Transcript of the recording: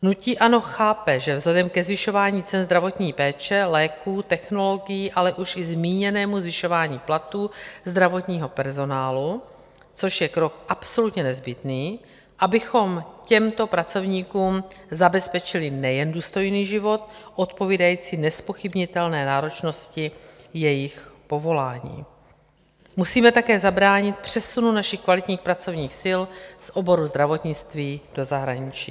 Hnutí ANO chápe, že vzhledem ke zvyšování cen zdravotní péče, léků, technologií, ale už i zmíněnému zvyšování platů zdravotního personálu, což je krok absolutně nezbytný, abychom těmto pracovníkům zabezpečili nejen důstojný život odpovídající nezpochybnitelné náročnosti jejich povolání, musíme také zabránit přesunu našich kvalitních pracovních sil z oboru zdravotnictví do zahraničí.